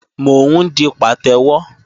Mò ń di pàtẹ́wọ́